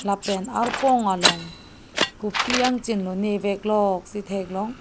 lapen arpong along kopi angchin lone veklok si theklong.